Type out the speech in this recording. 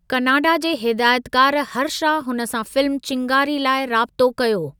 Canada जे हिदायतकार हर्षा हुन सां फिल्म चिंगारी लाइ राबत़ो कयो।